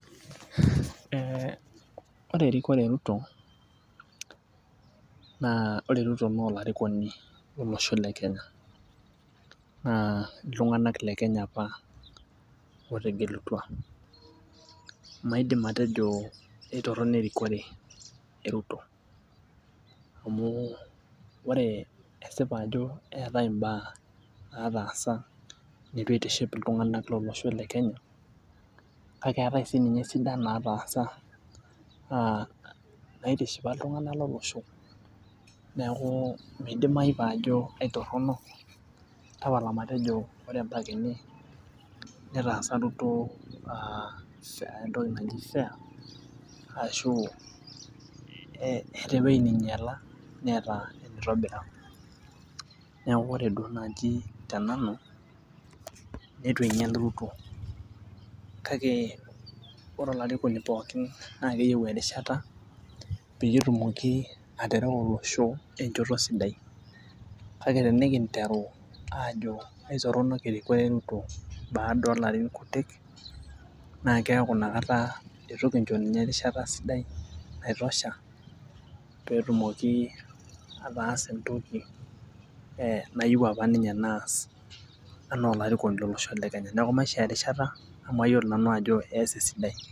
Eh ore erikore e Ruto naa ore ruto naa olarikoni lolosho le kenya naa iltung'anak le kenya apa otegelutua maidim atejo eitorrono erikore e ruto amu ore esipa ajo eetae imbaa nataasa nitu eitiship iltung'anak lolosho le kenya kake eetae sininye isidan nataasa uh naitishipa iltung'anak lolosho neku midimai paajo aitorrono tapala matejo ore mpaka ene netaasa Ruto aa entoki naji fair[ccs] ashu eh eeta ewueji ninyiala neeta ewueji nitobira niaku ore duo naaji te nanu netu einyial ruto kake ore olarikoni pookin naa keyieu erishata peyie etumoki aterewa olosho enchoto sidai kake tenikinteru aajo aitorronok e ruto baada olarin kutik naa keaku inakata itu kincho ninye erishata sidai naitosha petumoki ataasa entoki eh nayieu apa ninye naas anaa olarikoni lolosho le kenya neku maishoo erishata amu ayiolo sanu ajo ees esidai.